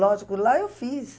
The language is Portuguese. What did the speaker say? Lógico, lá eu fiz.